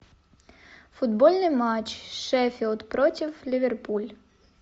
футбольный матч шеффилд против ливерпуль